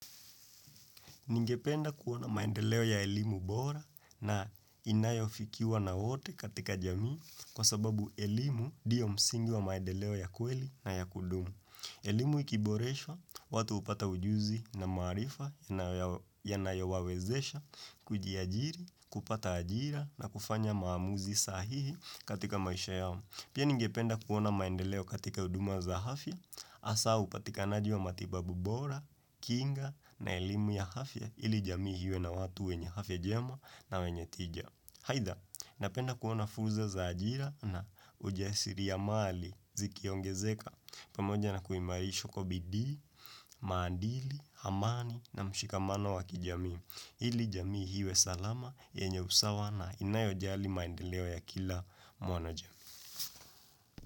Ningependa kuona maendeleo ya elimu bora na inayofikiwa na wote katika jamii kwa sababu elimu diyo msingi wa maendeleo ya kweli na ya kudumu. Elimu ikiboreswa, watu upata ujuzi na maarifa yanayowawezesha, kujiajiri, kupata ajira na kufanya maamuzi sahihi katika maisha yao. Pia ningependa kuona maendeleo katika uduma za hafya, asa upatikanaji wa matibabu bora, kinga na elimu ya hafya ili jamii hiwe na watu wenye hafya jema na wenye tija. Haitha, napenda kuona furza za ajira na ujasiriamali zikiongezeka pamoja na kuimarishwa kwa bidii, maandili, hamani na mshikamano wakijamii. Ili jamii hiwe salama, yenye usawa na inayojali maendeleo ya kila mwanoja.